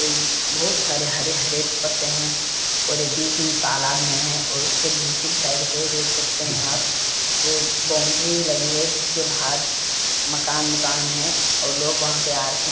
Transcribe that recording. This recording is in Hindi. इन बहुत सारे हरे-हरे पत्‍ते हैं और बीच तालाब में है और उसके दूसरी साईड पे देख सकते हैं आप एक बाउंड्री लगी है जिसके बाहर मकान है और लोग वहाँ पे आ रखें --